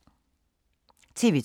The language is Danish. TV 2